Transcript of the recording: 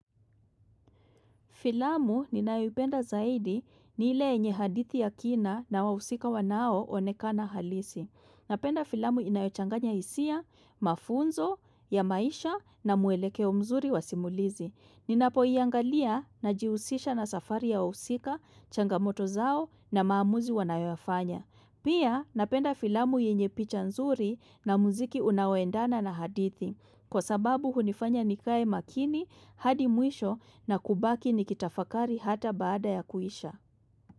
Filamu ninayopenda zaidi ni ile enye hadithi ya kina na wahusika wanao onekana halisi. Napenda filamu inayochanganya hisia, mafunzo, ya maisha na mwelekeo mzuri wa simulizi. Ninapoiangalia na jiusisha na safari ya wahusika, changamoto zao na maamuzi wanayoyafanya. Pia napenda filamu yenye picha nzuri na muziki unaoendana na hadithi. Kwa sababu hunifanya nikae makini, hadi mwisho na kubaki nikitafakari hata baada ya kuisha.